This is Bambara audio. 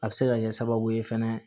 A bɛ se ka kɛ sababu ye fɛnɛ